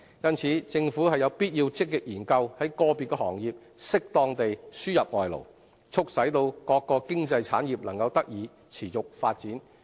因此，政府必須積極研究在個別行業適當地輸入外勞，促使各經濟產業能得以持續發展。